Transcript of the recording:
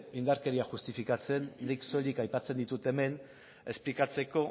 indarkeria justifikatzen nik soilik aipatzen ditut hemen esplikatzeko